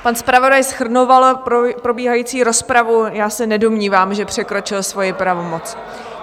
Pan zpravodaj shrnoval probíhající rozpravu, já se nedomnívám, že překročil svoji pravomoc.